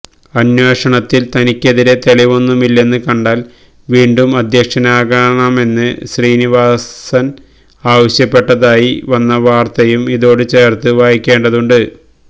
അന്വേഷണത്തില് തനിക്കെതിരെ തെളിവൊന്നുമില്ലെന്നു കണ്ടാല് വീണ്ടും അധ്യക്ഷനാക്കണമെന്ന്് ശ്രീനിവാസന് ആവശ്യപ്പെട്ടതായി വന്ന വാര്ത്തയും ഇതോട് ചേര്ത്ത് വായിക്കേണ്ടതുണ്ട്